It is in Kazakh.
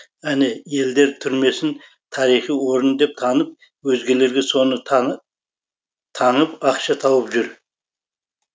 әне елдер түрмесін тарихи орын деп танып өзгелерге соны таңып ақша тауып жүр